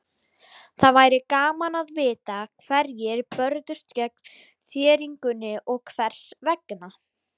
Það væri gaman að vita hverjir börðust gegn þéringunni og hvers vegna.